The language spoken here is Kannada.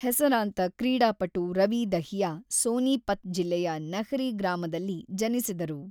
ಹೆಸರಾಂತ ಕ್ರೀಡಾಪಟು ರವಿ ದಹಿಯಾ, ಸೋನೀಪತ್ ಜಿಲ್ಲೆಯ ನಹ್ರೀ ಗ್ರಾಮದಲ್ಲಿ ಜನಿಸಿದರು.